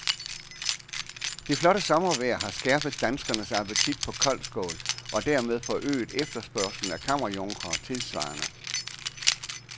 Det flotte sommervejr har skærpet danskernes appetit på koldskål, og dermed forøget efterspørgslen efter kammerjunkere tilsvarende.